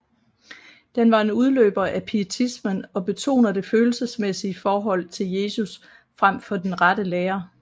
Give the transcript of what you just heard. Den var en udløber af pietismen og betoner det følelsesmæssige forhold til Jesus frem for den rette lære